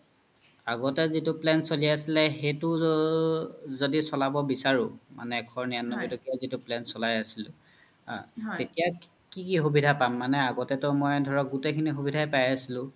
আগতে জিতু plan চ্লি আছিলে আ সেইতো জদি চ্লাব বিচাৰো মানে এশ নিৰান্নবৈ তকিয়া জিতু plan চ্লাই আছিলো তেতিয়া কি কি সুবিধা মানে আগ্তে তো ধৰক মনে গুতেই সুবিধাইয়ে পাই আছিলো